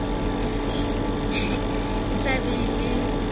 e tla be e le